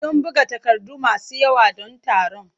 Sun buga takardu masu yawa don taron.